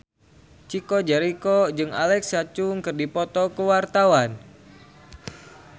Chico Jericho jeung Alexa Chung keur dipoto ku wartawan